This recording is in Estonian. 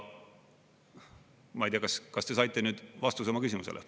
Ma ei tea, kas te saite nüüd vastuse oma küsimusele.